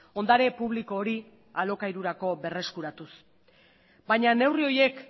ondare publiko hori alokairurako berreskuratuz baina neurri horiek